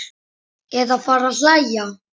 Eða fara að hlæja.